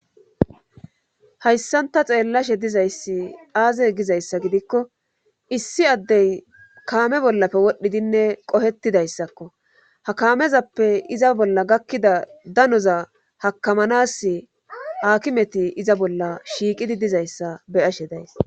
Hayssan ta xeellashe dizayssi aaze gizayssa gidikko issi addey kaame bollafe wodhdhidinne qohettidayssakko ha kaamezappe iza bolla gakkida danoza hakamanas hakimeti iza bolla shiiqidi dizayssa beyashe days.